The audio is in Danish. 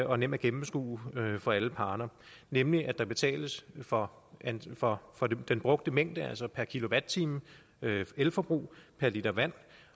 og nem at gennemskue for alle parter nemlig at der betales for for den brugte mængde altså per kilowatt time elforbrug per liter vand